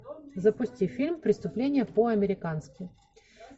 запусти фильм преступление по американски